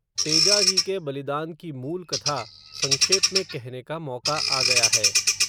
तेजाजी के बलिदान की मूल कथा, संक्षेप में कहने का मौका आ गया है